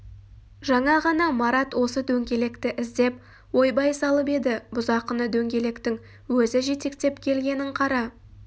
жаңа ғана марат осы дөңгелекті іздеп ойбай салып еді бұзақыны дөңгелектің өзі жетектеп келгенін қара-